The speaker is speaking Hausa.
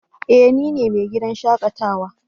Eh! Ni ne mai gidan shakatawa.